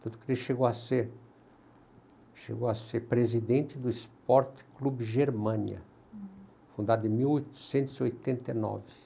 Tanto que ele chegou a ser, chegou a ser presidente do Sportklub Germania, fundado em mil oitocentos e oitenta e nove.